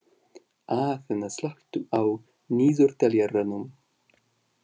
Aþena, slökktu á niðurteljaranum.